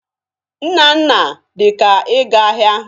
Nnanna dị ka ịga ahịa.